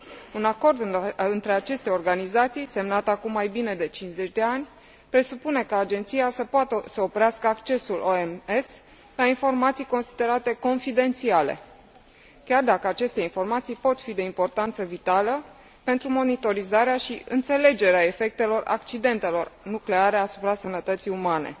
Un acord între aceste organizații, semnat acum mai bine de 50 de ani, presupune ca Agenția să poată să oprească accesul OMS la informații considerate confidențiale, chiar dacă aceste informații pot fi de importanță vitală pentru monitorizarea și înțelegerea efectelor accidentelor nucleare asupra sănătății umane.